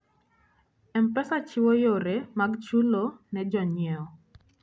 M-Pesa chiwo yore mag chulo ne jonyiewo.